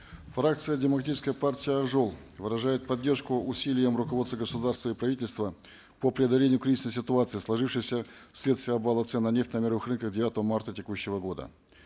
фракция демократической партии ақ жол выражает поддержку усилиям руководства государства и правительства по преодолению кризисной ситуации сложившейся вследствие обвала цен на нефть на мировых рынках девятого марта текущего года